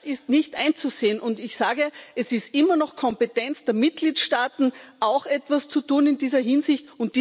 Das ist nicht einzusehen. Und ich sage, es ist immer noch Kompetenz der Mitgliedstaaten, auch etwas zu tun in dieser Hinsicht.